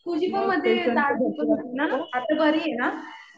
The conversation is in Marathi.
तुझी पण मध्ये दाढ दुखत होती ना. आता बरी आहे ना?